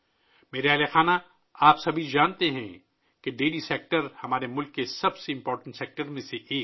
میرے پریوار جنوں ، آپ سب جانتے ہیں کہ ڈیری سیکٹر ہمارے ملک کے اہم ترین شعبوں میں سے ایک ہے